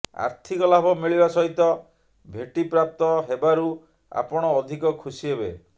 ଆର୍ଥିକ ଲାଭ ମିଳିବା ସହିତ ଭେଟି ପ୍ରାପ୍ତ ହେବାରୁ ଆପଣ ଅଧିକ ଖୁସି ହେବେ